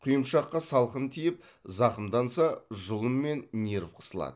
құйымшаққа салқын тиіп зақымданса жұлын мен нерв қысылады